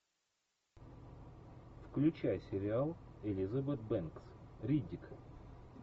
включай сериал элизабет бэнкс риддик